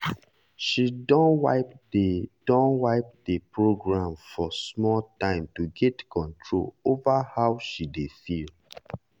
she don wipe the don wipe the program for small time to get control over how she dey feel